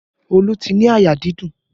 Olu ti ní àyà dídùn